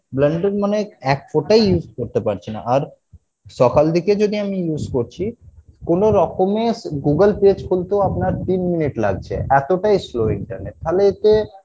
একফোঁটাই use করতে পারছিনা আর সকাল দিকে যদি আমি use করছি কোনোরকমে Google page খুলতেও আপনার তিন minute লাগছে এতোটাই slow internet তাহলে এতে